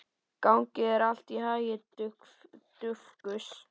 Gangi þér allt í haginn, Dufgus.